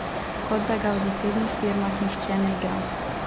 Kot da ga v zasebnih firmah nihče ne igra!